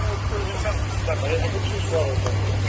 Götürün, götürün.